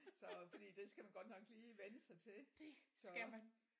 Så fordi det skal man godt nok lige vende sig til så